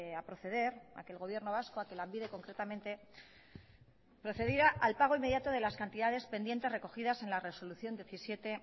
a proceder a que el gobierno vasco a que lanbide concretamente procediera al pago inmediato de las cantidades pendientes recogidas en la resolución diecisiete